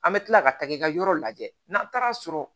An bɛ tila ka taa i ka yɔrɔ lajɛ n'an taara sɔrɔ